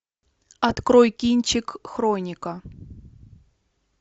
открой кинчик хроника